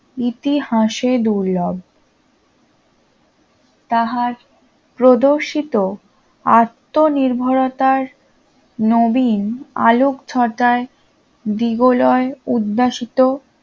ইতিহাসে দুর্লভ তাহার প্রদর্শিত আত্মনির্ভরতার নবীন আলোকছটায় দিগজয় উদ্যাসিত